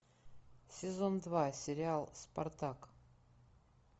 сезон два сериал спартак